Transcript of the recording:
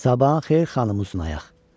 Sabahın xeyir, xanım uzunayaq.